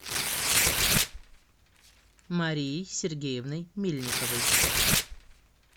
марией сергеевной мельниковой